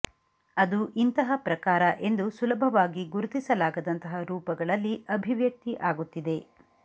ಅದು ಇಂತಹ ಪ್ರಕಾರ ಎಂದು ಸುಲಭವಾಗಿ ಗುರುತಿಸಲಾಗದಂತಹ ರೂಪಗಳಲ್ಲಿ ಅಭಿವ್ಯಕ್ತಿ ಆಗುತ್ತಿದೆ